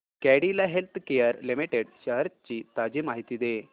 Cadila healthcare limited shares ची ताजी माहिती दे